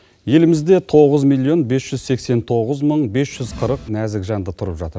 елімізде тоғыз миллион бес жүз сексен тоғыз мың бес жүз қырық нәзік жанды тұрып жатыр